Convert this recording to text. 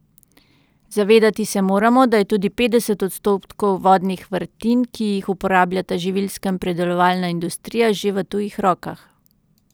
Zavedati se moramo, da je tudi petdeset odstotkov vodnih vrtin, ki jih uporabljata živilska in predelovalna industrija, že v tujih rokah.